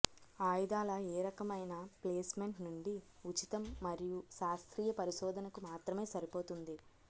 ఆయుధాల ఏ రకమైన ప్లేస్మెంట్ నుండి ఉచితం మరియు శాస్త్రీయ పరిశోధనకు మాత్రమే సరిపోతుంది